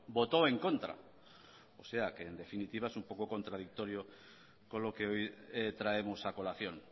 votó en contra o sea que en definitiva es un poco contradictorio con lo que hoy traemos a colación